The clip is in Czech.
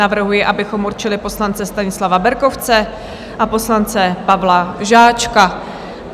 Navrhuji, abychom určili poslance Stanislava Berkovce a poslance Pavla Žáčka.